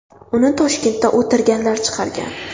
Uni Toshkentda o‘tirganlar chiqargan.